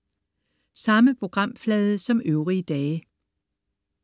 Samme programflade som øvrige dage